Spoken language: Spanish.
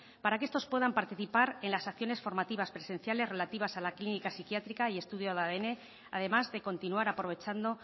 para que estos puedan participar en las acciones formativas presenciales relativas a la cínica psiquiátrica y estudio de adn además de continuar aprovechando